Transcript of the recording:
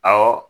Awɔ